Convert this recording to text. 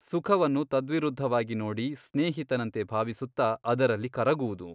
ಸುಖವನ್ನು ತದ್ವಿರುದ್ಧವಾಗಿ ನೋಡಿ ಸ್ನೇಹಿತನಂತೆ ಭಾವಿಸುತ್ತ ಅದರಲ್ಲಿ ಕರಗುವುದು.